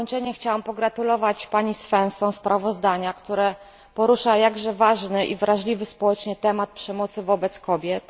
Chciałabym pogratulować pani Svensson sprawozdania, które porusza jakże ważny i wrażliwy społecznie temat przemocy wobec kobiet.